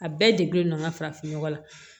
A bɛɛ degulen don n ka farafin nɔgɔ la